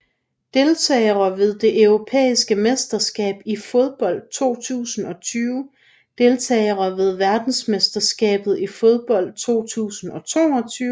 Deltagere ved det europæiske mesterskab i fodbold 2020 Deltagere ved verdensmesterskabet i fodbold 2022